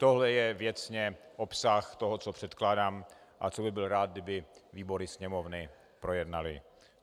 Tohle je věcně obsah toho, co předkládám a co bych byl rád, kdyby výbory Sněmovny projednaly.